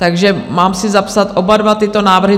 Takže mám si zapsat oba dva tyto návrhy?